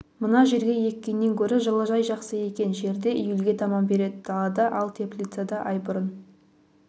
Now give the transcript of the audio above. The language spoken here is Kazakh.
мына жерге еккеннен гөрі жылыжай жақсы екен жерде июльге таман береді далада ал теплицада ай бұрын